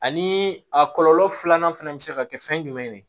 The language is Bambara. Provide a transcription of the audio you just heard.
Ani a kɔlɔlɔ filanan fɛnɛ bɛ se ka kɛ fɛn jumɛn ye